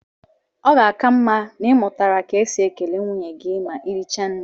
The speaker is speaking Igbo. Ọ ga-aka mma na ị mụtara ka e si ekele nwunye gị ma ị richaa nri